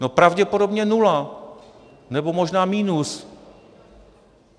No, pravděpodobně nula, nebo možná minus.